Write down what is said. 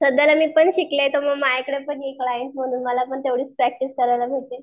सध्याला मीपण शिकले तर मग माझ्याकडे पण ये कलाइण्ट म्हणून मला पण तेव्हडीच प्रॅक्टिस करायला भेटेल.